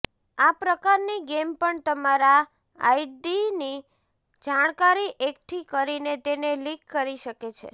આ પ્રકારની ગેમ પણ તમારા આઈડીની જાણકારી એકઠી કરીને તેને લીક કરી શકે છે